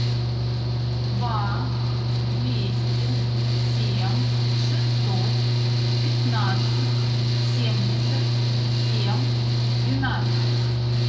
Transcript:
два двести семь шестьсот пятнадцать семьдесят семь двенадцать